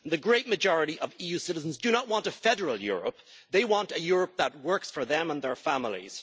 The great majority of EU citizens do not want a federal Europe. They want a Europe that works for them and their families.